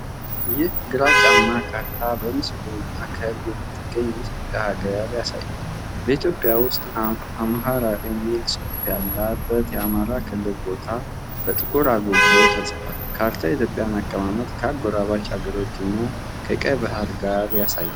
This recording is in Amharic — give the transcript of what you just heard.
ይህ ግራጫማ ካርታ በምስሉ ማዕከል የምትገኘውን የኢትዮጵያ ሀገር ያሳያል። በኢትዮጵያ ውስጥ "አምሃራ" የሚል ጽሑፍ ያለበት የአማራ ክልል ቦታ በጥቁር አጉልቶ ተጽፏል። ካርታው የኢትዮጵያን አቀማመጥ ከአጎራባች አገሮች እና ከቀይ ባህር ጋር ያሳያል።